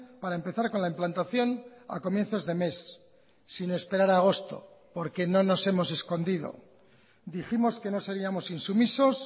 para empezar con la implantación a comienzos de mes sin esperar a agosto porque no nos hemos escondido dijimos que no seríamos insumisos